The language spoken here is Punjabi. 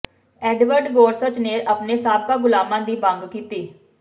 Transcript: ਐਡਵਰਡ ਗੋਰਸਚ ਨੇ ਆਪਣੇ ਸਾਬਕਾ ਗੁਲਾਮਾਂ ਦੀ ਮੰਗ ਕੀਤੀ